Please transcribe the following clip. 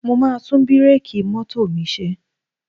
Mo máa tún bíréèkì mọ́tò mi ṣe